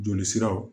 Joli siraw